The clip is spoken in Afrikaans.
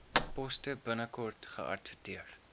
poste binnekort geadverteer